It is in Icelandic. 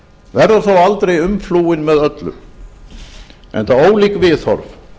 verður þó aldrei umflúinn með öllu enda ólík viðhorf